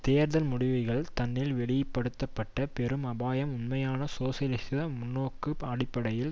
தேர்தல் முடிவுகள் தன்னில் வெளி படுத்தப்பட்ட பெரும் அபாயம் உண்மையான சோசியலிச முன்னோக்கு அடிப்படையில்